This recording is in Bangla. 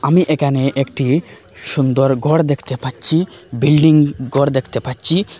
আমি এখানে একটি সুন্দর ঘর দেখতে পাচ্ছি বিল্ডিং ঘর দেখতে পাচ্ছি।